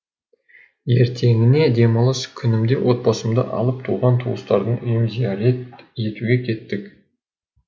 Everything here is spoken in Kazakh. ертеңіне демалыс күнімде отбасымды алып туған туыстардың үйін зиярат етуге кеттік